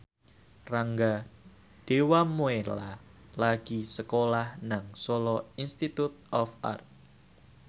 Rangga Dewamoela lagi sekolah nang Solo Institute of Art